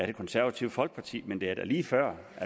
det konservative folkeparti men det er da lige før